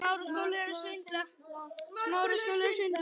Bræður mínir voru algerir gaurar.